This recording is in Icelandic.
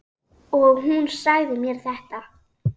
Og hún sagði mér þetta.